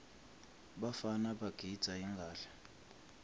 bafana bagidza ingadla